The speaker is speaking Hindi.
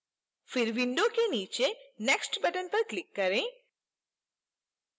फिर window के नीचे next button पर click करें